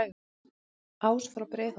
ás frá breiðholti